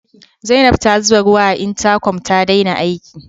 Zainab ta zube ruwa a intakom ta daina aiki.